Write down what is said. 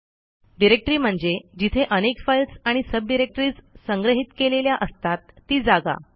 directory म्हणजे जिथे अनेक फाईल्स आणि सब डिरेक्टरीज संग्रहित केलेल्या असतात ती जागा